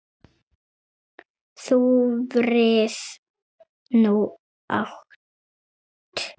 Þú frið nú átt.